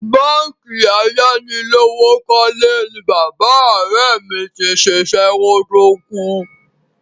Báǹkì ayánilówókọ́lé ni bàbá ọ̀rẹ́ mi ti ṣiṣẹ́ kó tó kú.